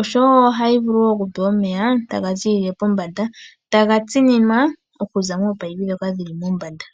Oshowoo ohayi vulu okupewa omeya tagazi pombanda , tayi tsininwa okuza mominino ndhoka dhili pombanda.